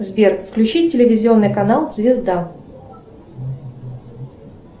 сбер включи телевизионный канал звезда